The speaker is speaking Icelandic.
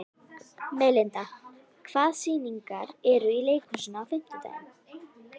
Melinda, hvaða sýningar eru í leikhúsinu á fimmtudaginn?